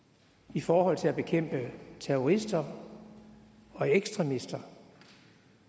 i forhold til at bekæmpe terrorister og ekstremister